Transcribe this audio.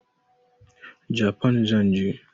Japan zan je.